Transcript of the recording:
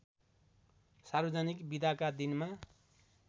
सार्वजनिक बिदाका दिनमा